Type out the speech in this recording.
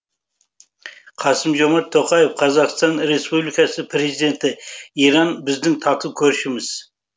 қасым жомарт тоқаев қазақстан республикасы президенті иран біздің тату көршіміз